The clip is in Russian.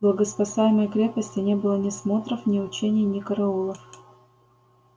в богоспасаемой крепости не было ни смотров ни учений ни караулов